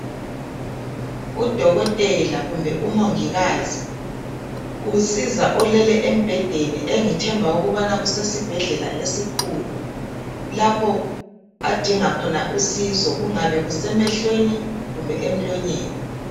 Udokotela kumbe umongikazi usiza olele embhedeni engithemba ukubana kusesibhedlela esikhulu lapho adinga khona usizo kungabe kusemehlweni kumbe emlonyeni